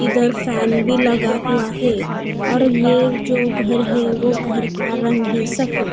इधर फैन भी लगा हुआ है और ये जो घर है वो घर का रंग है सफेद।